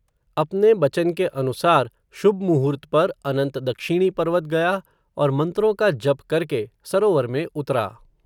अपने बचन के अनुसार, शुभमुहूर्त पर, अनंत दक्षिणी पर्वत गया, और मंत्रों का जप करके, सरोवर में उतरा